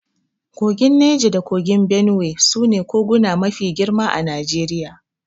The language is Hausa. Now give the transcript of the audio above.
Kogin Naja da kogin Benuwe su ne koguna mafi girma a Najeriya.